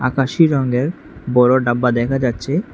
আকাশী রঙের বড় ডাব্বা দেখা যাচ্ছে।